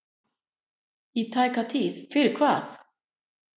Í tæka tíð fyrir hvað?